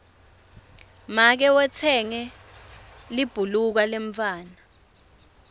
make utsenge libhuluka lemntfwana